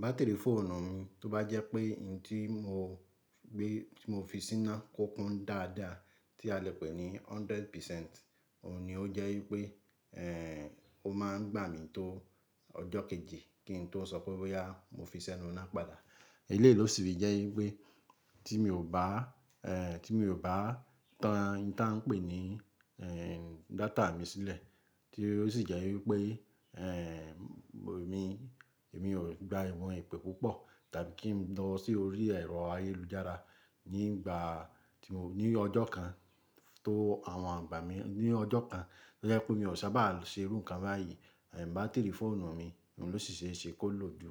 Batiri fóònù mi tó bá jẹ́ pé ohun tí mo gbé tí mo fi síná kúnkún dáadáa tí a lè pè ní hundred percent, òun ni ó jẹ́ wípé ẹ̀ ò ma ń gbà mí tó ọjọ́ kejì kí n tó sọ pé bóyá mo fi sẹ́nu náà padà. Eléyìí losi fi jẹ́ wípé tí mi ò bá ẹ̀ tí mi ò bá tan ìta n pè ní ẹ̀ data mi sílẹ̀ tí ó sì jẹ́ wípé ẹ̀ mi, èmi ò gba ìwọn ìpè púpọ̀ tàbí kí n lọ sí orí ẹ̀rọ ayélujára nígbà tí mo ní ọjọ́ kan tó àwọn àgbà mí ní ọjọ́ kan tó jẹ́ pé mi ò sábà ṣe irú nǹkan báyìí, ẹ̀ bátìrì fóònù mi òun ló sì ṣe é ṣe kó lò ju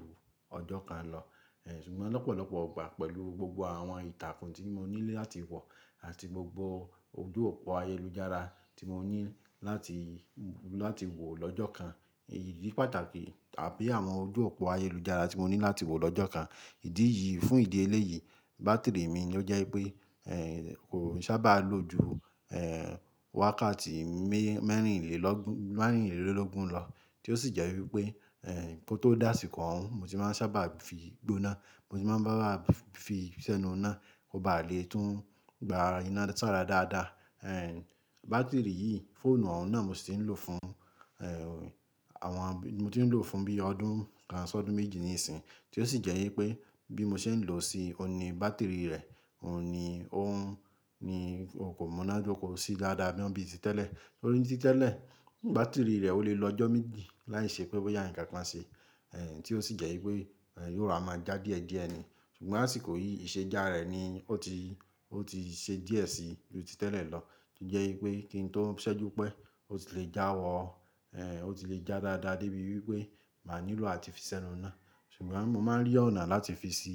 ọjọ́ kan lọ. Ẹ̀ ṣùgbọ́n lọ́pọ̀lọpọ̀ ọgbà pẹ̀lú gbogbo àwọn ìtàkùn tí mo nílẹ̀ láti wọ̀ àti gbogbo ojú òpó ayélujára tí mo ní láti láti wò lọ́jọ́ kan, èyí di pàtàkì tàbí àwọn ojú òpó ayélujára tí mo ní láti wò lọ́jọ́ kan. Ìdí yìí fún ìdí eléyìí bátìrì mi ló jẹ́ wípé ẹ̀ kò sábà lo ju ẹ̀ wákàtí mẹ́ mẹ́rin lé lọ́gbọ̀n mẹ́rin lé lọ́lọ́gbọ̀n lọ, tí ó sì jẹ́ wípé ẹ̀ kó tó dà sí kàn ń, mo sì máa sábà fi gbóná, mo sì máa ń bá wa fi sẹ́nu náà kó bá le tún gba iná sá rà dáadáa. Ẹ̀ bátìrì yìí, fóònù ọ̀hún náà mo sì ń lò fún ẹ̀ àwọn bí mo ti ń lò fún bí i ọdún kan sọdún méjì ní ìsìn, tí ó sì jẹ́ wípé bí mo ṣe ń lò ó sì, òun ni bátìrì rẹ̀ òun ni óun ni ò kò múná dóko sí dáadáa bí i ti tẹ́lẹ̀. Lórí ti tẹ́lẹ̀ bátìrì rẹ̀ ò le lọ ọjọ́ méjì láìṣe pé bóyá ǹkan ṣe, ẹ̀ tí ó sì jẹ́ wípé ẹ̀ yóò ra máa já díẹ̀ díẹ̀ ni, ṣùgbọ́n àsìkò yìí ìṣe já rẹ̀ ni ó ti ó ti ṣe díẹ̀ sí ju ti tẹ́lẹ̀ lọ, kí jẹ́ wípé kí n tó ṣẹ́jú pé ó ti le já wọ̀ ẹ̀ ó ti le já dáadáa débi wípé mà nílò àti fi sẹ́nu náà. Ṣùgbọ́n mo máa ń rí ọ̀nà láti fi ṣi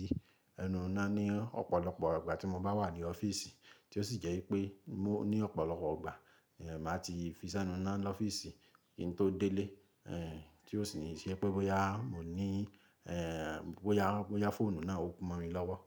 ẹnu náà ní ọ̀pọ̀lọpọ̀ ìgbà tí mo bá wà ní ọ́fíìsì, tí ó sì jẹ́ wípé mó ní ọ̀pọ̀lọpọ̀ ìgbà ẹ̀ má ti fi sẹ́nu náà lọ́fíìsì kí n tó délé ẹ̀ tí ó sì ń ṣe pé bóyá mo ní ẹ̀ bóyá bóyá fóònù náà ó kú mọ́ mi lọ́wọ́.